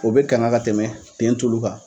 O be kanga ka tɛmɛ ten tulu kan.